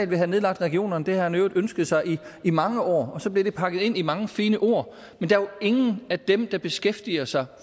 vil have nedlagt regionerne det har han i øvrigt ønsket sig i mange år og så bliver det pakket ind i mange fine ord men der er jo ingen af dem der beskæftiger sig